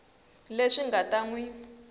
leswi nga ta n wi